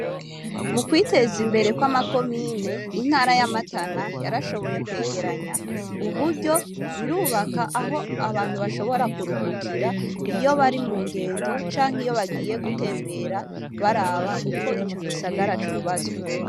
Mu kwiteza imbere kw'ama komine, intara ya Matana yarashoboye kwegeranya uburyo, birubaka aho abantu bashobora kuruhukira iyo bari mu ngendo canke iyo bagiye gutembera baraba uko ico gisagara cubatswe.